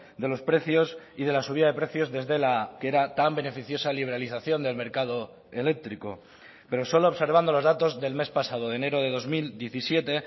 de los precios y de la subida de precios desde la que era tan beneficiosa liberalización del mercado eléctrico pero solo observando los datos del mes pasado de enero de dos mil diecisiete